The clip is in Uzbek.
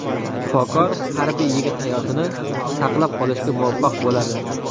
Shifokor harbiy yigit hayotini saqlab qolishga muvaffaq bo‘ladi.